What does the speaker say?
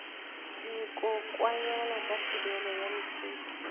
dikokwanyana ka thibelo ya mefuta